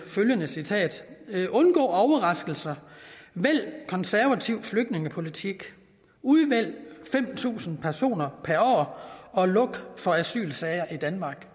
følgende citat undgå overraskelser vælg konservativ flygtningepolitik udvælg fem tusind personer per år og luk for asylsager i danmark